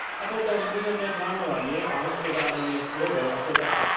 a potom územné plánovanie a hospodárenie s pôdou ako takou.